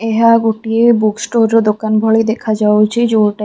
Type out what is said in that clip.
ଏହା ଗୋଟିଏ book store ର ଦୋକାନ ଭଳି ଦେଖାଯାଉଛି।